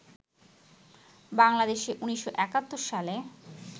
বাংলাদেশে ১৯৭১ সালে